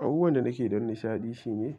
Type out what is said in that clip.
Abubuwan da nake yi don nishaɗi shine